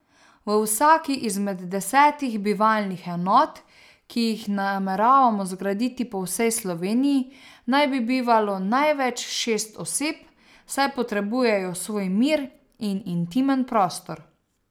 V vsaki izmed desetih bivalnih enot, ki jih nameravamo zgraditi po vsej Sloveniji, naj bi bivalo največ šest oseb, saj potrebujejo svoj mir in intimen prostor.